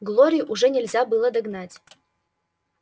глорию уже нельзя было догнать